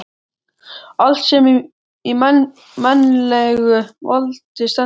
Allt sem í mannlegu valdi stendur.